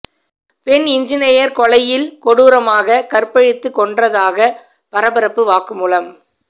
பெண் என்ஜினீயர் கொலையில் கொடூரமாக கற்பழித்து கொன்றதாக பரபரப்பு வாக்குமூலம்